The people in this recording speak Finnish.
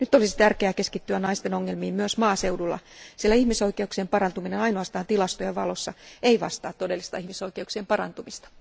Nyt olisi tärkeää keskittyä naisten ongelmiin myös maaseudulla, sillä ihmisoikeuksien parantuminen ainoastaan tilastojen valossa ei vastaa todellista ihmisoikeuksien parantumista.